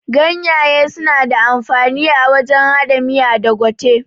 Ganyaye suna da amfani a wajen haɗa miya da gwate